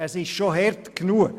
Es ist schon hart genug.